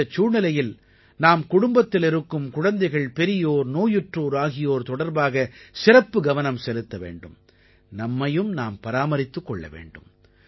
இந்தச் சூழலில் நாம் குடும்பத்தில் இருக்கும் குழந்தைகள்பெரியோர் நோயுற்றோர் ஆகியோர் தொடர்பாக சிறப்பு கவனம் செலுத்த வேண்டும் நம்மையும் நாம் பராமரித்துக் கொள்ள வேண்டும்